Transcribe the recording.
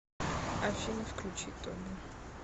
афина включи тоби